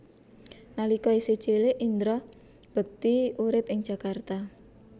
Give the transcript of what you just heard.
Nalika isih cilik Indra Bekti urip ing Jakarta